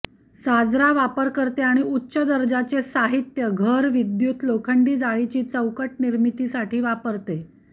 साजरा वापरकर्ते आणि उच्च दर्जाचे साहित्य घर विद्युत लोखंडी जाळीची चौकट निर्मितीसाठी वापरले